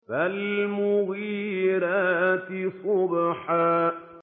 فَالْمُغِيرَاتِ صُبْحًا